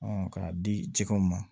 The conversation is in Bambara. k'a di jɛgɛw ma